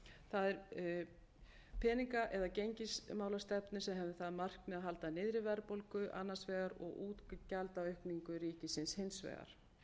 það er peninga eða gengismálastefnu sem hefði það að markmiði að halda niðri verðbólgu annars vegar og útgjaldaaukningu ríkisins hins vegar